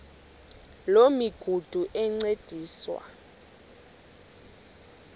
loo migudu encediswa